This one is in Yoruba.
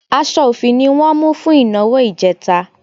Aṣọ òfì ni wọ́n mú fún ìnáwó ìjẹta